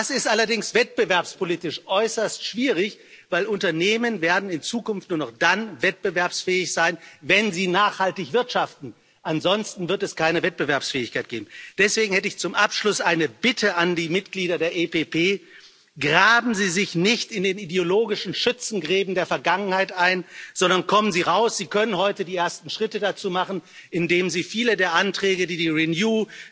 Das ist allerdings wettbewerbspolitisch äußerst schwierig, denn Unternehmen werden in Zukunft nur noch dann wettbewerbsfähig sein, wenn sie nachhaltig wirtschaften, ansonsten wird es keine Wettbewerbsfähigkeit geben. Deswegen hätte ich zum Abschluss eine Bitte an die Mitglieder der EPP Graben Sie sich nicht in den ideologischen Schützengräben der Vergangenheit ein, sondern kommen Sie raus. Sie können heute die ersten Schritte dazu machen, indem Sie viele der Anträge, die Renew,